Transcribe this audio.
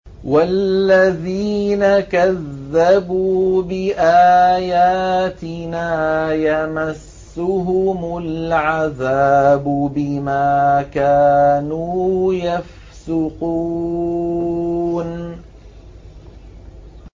وَالَّذِينَ كَذَّبُوا بِآيَاتِنَا يَمَسُّهُمُ الْعَذَابُ بِمَا كَانُوا يَفْسُقُونَ